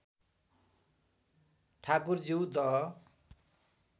ठाकुरज्यू दह